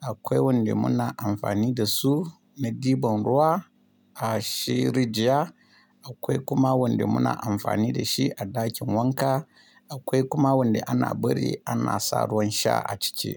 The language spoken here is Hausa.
akwai wanda muna amfani da su na diban ruwa a shi rija, akwai kuma wanda muna amfani da shi a ɗakin wanka, akwai kuma wanda ana bari ana sa ruwan sha a cice.